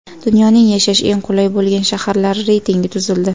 Dunyoning yashash eng qulay bo‘lgan shaharlari reytingi tuzildi.